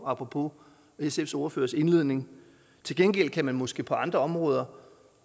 apropos sfs ordførers indledning til gengæld kan man måske på andre områder